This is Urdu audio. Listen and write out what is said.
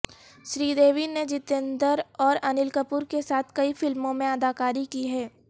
سری دیوی نے جیتیندر اور انیل کپور کے ساتھ کئی فلموں میں اداکاری کی ہے